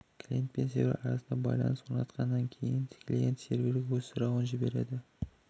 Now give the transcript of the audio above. клиент пен сервері арасында байланысты орнатқаннан кейін клиент серверге өз сұрауын жібереді